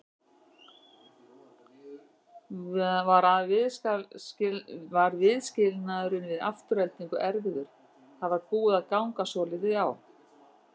Var viðskilnaðurinn við Aftureldingu erfiður, það var búið að ganga svolítið á?